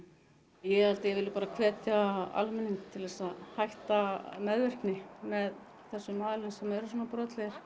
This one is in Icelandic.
ég held ég vilji bara hvetja almenning á til að hætta meðvirkni með þessum aðilum sem eru brotlegir